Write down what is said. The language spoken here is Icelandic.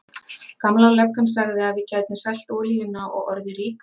Gamla löggan sagði að við gætum selt olíuna og orðið ríkar.